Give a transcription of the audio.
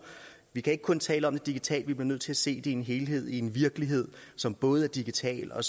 vi kan ikke kun tale om det digitalt vi bliver nødt til at se det i en helhed i en virkelighed som både er digital og